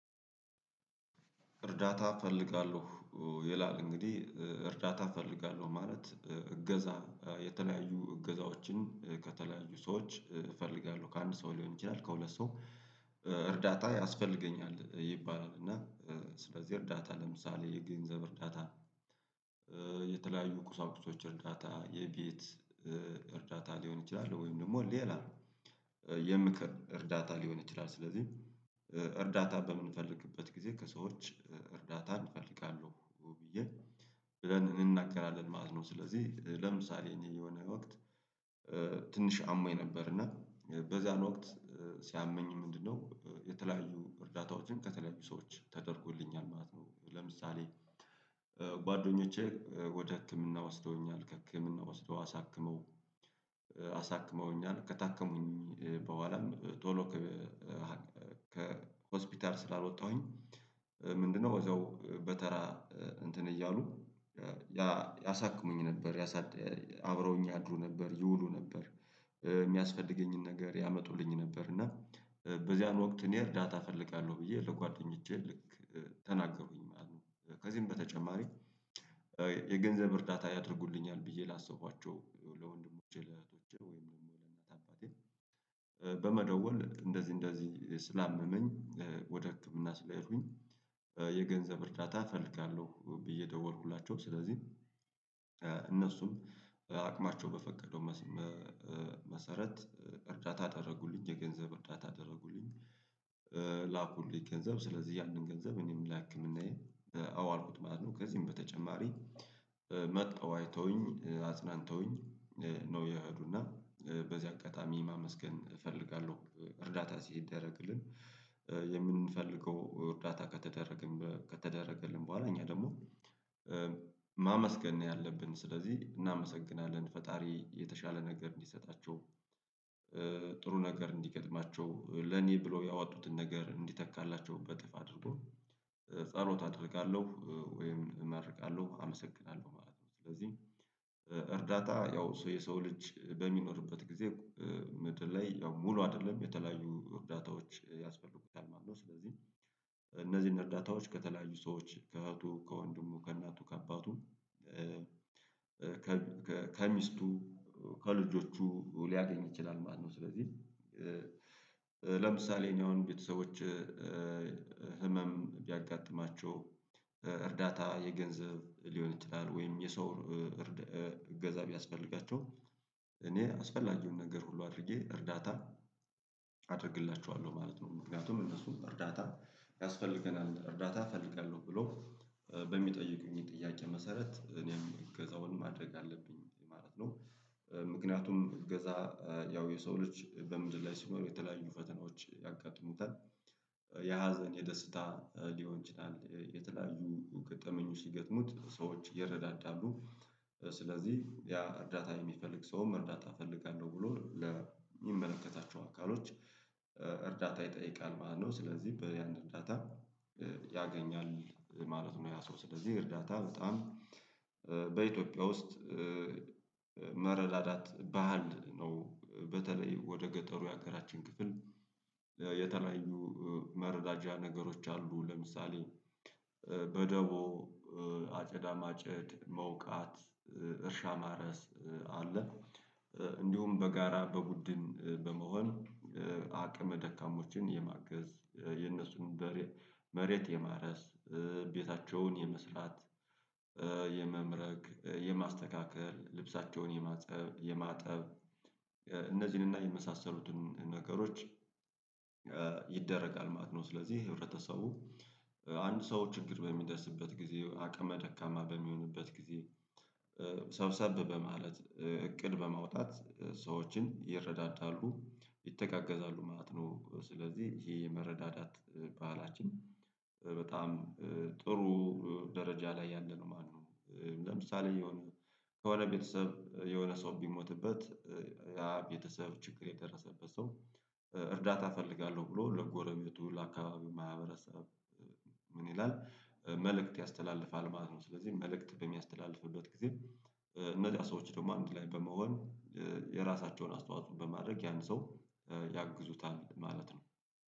እርዳታ እፈልጋለሁ ይላል እንግዲህ እርዳታ እፈልጋለሁ ማለት እገዛ የተለያዩ እገዛዎችን ከተለያዩ ሰዎች እፈልጋለሁ ከአንድ ሰው ሊሆን ይችላል፣ ከሁለት ሰው እርዳታ ያስፈልገኛል ይባላል እና ስለዚህ እርዳታ ለምሳሌ የገንዘብ እርዳታ፣ የተለያዩ ቁሳቁሶች እርዳታ፣ የቤት እርዳታ ሊሆን ይችላል ወይም ደግሞ ሌላ የምክር እርዳታ ሊሆን ይችላል። ስለዚህ እርዳታ በምንፈልግበት ጊዜ ከሰዎች እርዳታን እፈልጋለሁ ብዬ ብለን እንነጋገራለን ማለት ነው። ስለዚህ ለምሳሌ እኔ የሆነ ወቅት ትንሽ አሞኝ ነበር እና በዛን ወቅት ሲያመኝ ምንድነው የተለያዩ እርዳታዎችን ከተለያዩ ሰዎች ተደርጎልኛል ማለት ነው። ለምሳሌ ወደ ህክምና ወስደውኛል፣ ከህክምና ወስደው አሳክመው አሳክመውኛል፣ ከታከምኩኝ በኋላም ቶሎ ከሆስፒታል ስላልወጣሁኝ ምንድነው እዛው በተራ እንትን እያሉ ያሳክሙኝ ነበር፣ ያሳድግ አብረውኝ ያድሩ ነበር፣ ይውሉ ነበር፣ የሚያስፈልገኝን ነገር ያመጡልኝ ነበር እና በዚያን ወቅት እኔ እርዳታ እፈልጋለሁ ብዬ ለጓደኞቼ ልክ ተናገሩኝ ማለት ነው። ከዚህም በተጨማሪ የገንዘብ እርዳታ ያደርጉልኛል ብዬ ላሰብኳቸው ለወንድሞቼ፣ ለእህቶቼ ወይም ለእናት፣ አባቴ በመደወል እንደዚህ እንደዚህ ስላመመኝ ወደ ህክምና ስለሄድሁኝ የገንዘብ እርዳታ እፈልጋለሁ ብዬ ደወልሁላቸው። ስለዚህ እነሱም አቅማቸው በፈቀደው መሰረት እርዳታ አደረጉልኝ። የገንዘብ እርዳታ አደረጉልኝ። ላኩልኝ ገንዘብ። ስለዚህ ያንን ገንዘብ እኔም ለህክምናዬ አዋልኩት ማለት ነው። ከዚህም በተጨማሪ መጠው አይተውኝ አጽናንተውኝ ነው የሄዱና በዚህ አጋጣሚ ማመስገን እፈልጋለሁ። እርዳታ ሲደረግልን የምንፈልገው እርዳታ ከተደረገን ከተደረገልን በኋላ እኛ ደግሞ ማመስገን ነው ያለብን። ስለዚህ እናመሰግናለን። ፈጣሪ የተሻለ ነገር እንዲሰጣቸው። ጥሩ ነገር እንዲገጥማቸው፣ ለኔ ብሎ ያወጡትን ነገር እንዲተካላቸው፣ በጥፍ አድርጎ ጸሎት አደርጋለሁ ወይም እመርቃለሁ አመሰግናለሁ ማለት ነው። ስለዚህ እርዳታ ያው ሰው የሰው ልጅ በሚኖርበት ጊዜ ምድር ላይ ያው ሙሉ አይደለም። የተለያዩ እርዳታዎች ያስፈልጉታል ማለት ነው። ስለዚህ እነዚህን እርዳታዎች ከተለያዩ ሰዎች ከእህቱ፣ ከወንድሙ፣ ከእናቱ፣ ከአባቱም ከሚስቱ፣ ከልጆቹ ሊያገኝ ይችላል ማለት ነው። ስለዚህ ለምሳሌ እኔ አሁን ቤተሰቦቸ ህመም ቢያጋጥማቸው እርዳታ የገንዘብ ሊሆን ይችላል ወይም የሰው እርድ እገዛ ቢያስፈልጋቸው እኔ አስፈላጊውን ነገር ሁሉ አድርጌ እርዳታ አደርግላቸዋለሁ ማለት ነው። ምክንያቱም እነሱም እርዳታ ያስፈልገናል እርዳታ እፈልጋለሁ ብሎ በሚጠይቁኝ ጥያቄ መሰረት እኔም እገዛውን ማድረግ አለብኝ ማለት ነው። ምክንያቱም እገዛ ያው የሰው ልጅ በምድር ላይ ሲኖሩ የተለያዩ ፈተናዎች ያጋጥሙታል። የሀዘን፣ የደስታ ሊሆን ይችላል። የተለያዩ ገጠመኞች ሲገጥሙት ሰዎች ይረዳዳሉ ስለዚህ ያ እርዳታ የሚፈልግ ሰውም እርዳታ እፈልጋለሁ ብሎ ለሚመለከታ አካሎች እርዳታ ይጠይቃል ማለት ነው። ስለዚህ በያን እርዳታ ያገኛል ማለት ነው። ያ ሰው ስለዚህ እርዳታ በጣም በኢትዮጵያ ውስጥ መረዳዳት ባህል ነው። በተለይ ወደ ገጠሩ የሀገራችን ክፍል የተለያዩ መረዳጃ ነገሮች አሉ። ለምሳሌ በደቦ፣ አጨዳ ማጨድ፣ መውቃት፣ እርሻ ማረስ አለ። እንዲሁም በጋራ በቡድን በመሆን አቅመ ደካሞችን የማገዝ የነሱን መሬት የማረስ ቤታቸውን የመስራት የምረግ የማስተካከል ልብሳቸውን የማፀብ የማጠብ እነዚህንና የመሳሰሉትን ነገሮች ይደረጋል ማለት ነው። ስለዚህ ህብረተሰቡ አንድ ሰው ችግር በሚደርስበት ጊዜ አቅመ ደካማ በሚሆንበት ጊዜ ሰብሰብ በማለት እቅድ በማውጣት ሰዎችን ይረዳዳሉ ይተጋገዛሉ ማለት ነው። ስለዚህ ይሄ የመረዳዳት ባህላችን በጣም ጥሩ ደረጃ ላይ ያለ ነው ማለት ነው። ለምሳሌ የሆነ ከሆነ ቤተሰብ የሆነ ሰው ቢሞትበት ያ ቤተሰብ ችግር የደረሰበት ሰው እርዳታ እፈልጋለሁ ብሎ ለጎረቤቱ ለአካባቢው ማህበረሰብ ምን ይላል መልእክት ያስተላልፋል ማለት ነው። ስለዚህ መልእክት በሚያስተላልፍበት ጊዜ እነዚያ ሰዎች ደግሞ አንድ ላይ በመሆን የራሳቸውን አስተዋጽኦ በማድረግ ያን ሰው ያግዙታል ማለት ነው።